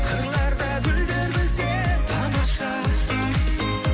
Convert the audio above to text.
қырларда гүлдер күлсе тамаша